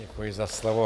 Děkuji za slovo.